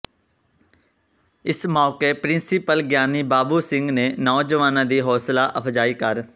ਇਸ ਮੌਕੇ ਪਿ੍ਰੰਸੀਪਲ ਗਿਆਨੀ ਬਾਬੂ ਸਿੰਘ ਨੇ ਨੌਜਵਾਨਾਂ ਦੀ ਹੌਸਲਾ ਅਫ਼ਜਾਈ ਕਰ